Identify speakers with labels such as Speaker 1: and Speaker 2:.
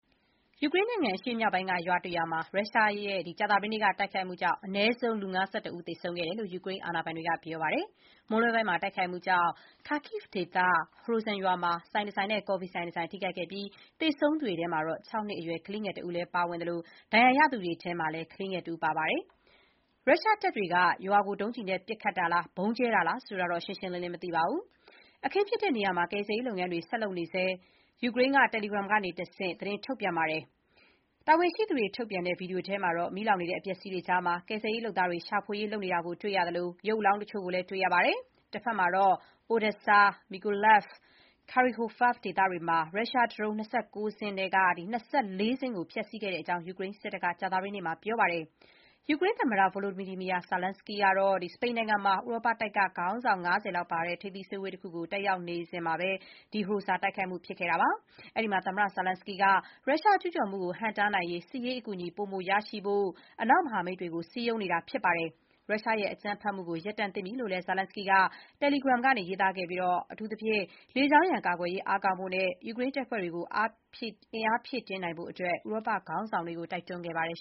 Speaker 1: ယူကရိန်းနိုင်ငံ အရှေ့မြောက်ပိုင်းက ရွာတရွာမှာ ရုရှားရဲ့ ကြာသပတေးနေ့က တိုက်ခိုက်မှုကြောင့် အနည်းဆုံး လူ ၅၁ ဦး သေဆုံးခဲ့တယ်လို့ ယူကရိန်းအာဏာပိုင်တွေက ပြောပါတယ်။ မွန်းလွဲပိုင်းမှာ တိုက်ခိုက်မှု ကြောင့် ခါကိဗ် (Kharkiv) ဒေသရှိ ဟရိုဇာ (Hroza) ရွာမှာ ဆိုင်တဆိုင်နဲ့ ကော်ဖီဆိုင်တဆိုင် ထိခိုက်ခဲ့ပြီး သေဆုံးသူတွေထဲမှာ အသက် ၆ နှစ်အရွယ် ကလေးငယ်တဦးလည်း ပါဝင်ခဲ့သလို ဒဏ်ရာရသူတွေထဲမှာလည်း ကလေးငယ်တဦးပါဝင်တယ် ဆိုပါတယ်။ ရုရှားတပ်တွေက ရွာကို ဒုံးကျည်နဲ့ ပစ်ခတ်တာလား၊ ဗုံးကြဲတာလားဆိုတာတော့ ရှင်းရှင်းလင်းလင်း မသိရသေးပါဘူး။ " အခင်းဖြစ်တဲ့ နေရာမှာ ကယ်ဆယ်ရေး လုပ်ငန်းတွေ ဆက်လုပ်နေဆဲ” ယူကရိန်းက Telegram ကတဆင့် သတင်းထုတ်ပြန်ပါတယ်။ တာဝန်ရှိသူတွေ ထုတ်ပြန်တဲ့ ဗွီဒီယိုထဲမှာတော့ မီးလောင်နေတဲ့ အပျက်အစီးတွေကြားမှာ ကယ်ဆယ်ရေးလုပ်သားတွေ ရှာဖွေရေးလုပ်နေတာကို တွေ့ရသလို ရုပ်အလောင်းတချို့ကိုလည်း တွေ့ရပါတယ်။ တဘက်မှာတော့ Odesa၊ Mykolaiv နှင့် Kirohovrad ဒေသတွေမှာ ရုရှားဒရုန်း ၂၉ စင်းအနက် ၂၄ စင်းကို ဖျက်ဆီးခဲ့ကြောင်း ယူကရိန်းစစ်တပ်က ကြာသပတေးနေ့မှာ ပြောပါတယ်။ ယူကရိန်းသမ္မတ Volodymyr Zelenskyy ဟာ စပိန်နိုင်ငံမှာ ဥရောပတိုက်ကခေါင်းဆောင် ၅၀ လောက်ပါဝင်တဲ့ ထိပ်သီးအစည်းအဝေး တခုတက်ရောက်နေတုန်းမှာ ဟရိုဇာ တိုက်ခိုက်မှု ဖြစ်ခဲ့တာပါ။ အဲဒီမှာ Zelenskyy က ရုရှားကျူးကျော်မှုကိဟန့်တားနိုင်ရေး စစ်ရေးအကူအညီပိုမိုရရှိဖို့ အနောက်မဟာမိတ်တွေကို စည်းရုံးနေတာပါ။ “ရုရှားရဲ့အကြမ်းဖက်မှုကို ရပ်တန့်သင့်ပြီ” လို့လည်း Zelenskyy က Telegram ရေးသားခဲ့ပြီး အထူးသဖြင့် လေကြောင်းရန်ကာကွယ်ရေး အားကောင်းဖို့နဲ့ ယူကရိန်းတပ်ဖွဲ့တွေကို အင်အားဖြည့်တင်းနိုင်ဖို့ ဥရောပခေါင်းဆောင်တွေကို တိုက်တွန်းခဲ့ပါတယ်